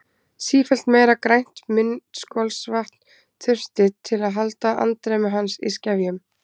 Sífellt meira grænt munnskolvatn þurfti til að halda andremmu hans í skefjum.